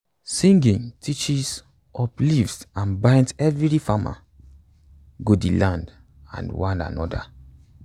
singing teaches uplifts and binds everi farmer go di land and one anoda